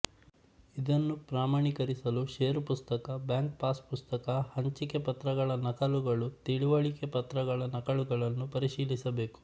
ಇದನ್ನು ಪ್ರಮಾಣಿಕರಿಸಲು ಷೇರು ಪುಸ್ತಕ ಬ್ಯಾಂಕ್ ಪಾಸ್ ಪುಸ್ತಕ ಹಂಚಿಕೆ ಪತ್ರಗಳ ನಕಲುಗಳು ತಿಳಿವಳಿಕೆ ಪತ್ರಗಳ ನಕಲುಗಳನ್ನು ಪರಿಶಿಲಿಸಬೇಕು